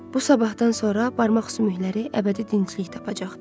Bu sabahdan sonra barmaq sümükləri əbədi dinclik tapacaqdı.